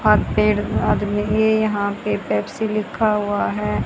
और पेड़ आदमी ये यहां पे पेप्सी लिखा हुआ है।